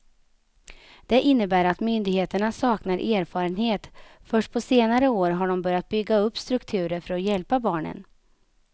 Det innebär att myndigheterna saknar erfarenhet, först på senare år har de börjat bygga upp strukturer för att hjälpa barnen.